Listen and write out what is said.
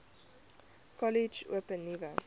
kollege open nuwe